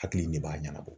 Hakili de b'a ɲɛnabɔ